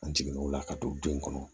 An jiginnen o la ka don denw kɔnɔ